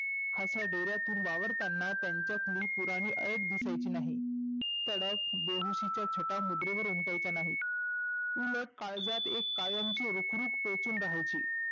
अशा डेर्यातून वावरतांना त्यांच्यातली पुराणी ऐट दिसायची नाही. तडफ बेबसीच्या छटा मुद्रेवर उमठायच्या नाहीत. उलट काळजात एक कायमची रुख रुख टोचून रहायची.